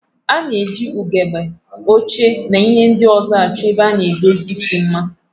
A na-eji ugegbe, oche, na ihe ndị ọzọ achọ ebe ndozi isi mma.